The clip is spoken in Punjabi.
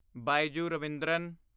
ਬਾਈਜੂ ਰਵਿੰਦਰਨ